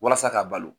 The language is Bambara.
Walasa k'a balo